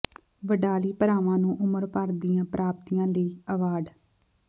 ਵਡਾਲੀ ਭਰਾਵਾਂ ਨੂੰ ਉਮਰ ਭਰ ਦੀਆਂ ਪ੍ਰਾਪਤੀਆਂ ਲਈ ਐਵਾਰਡ